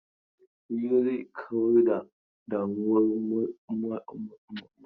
Hira zai kawar da damuwar masu yin hirar.